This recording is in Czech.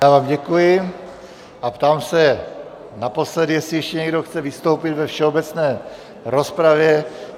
Já vám děkuji a ptám se naposledy, jestli ještě někdo chce vystoupit ve všeobecné rozpravě.